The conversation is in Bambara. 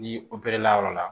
N'i la yɔrɔ la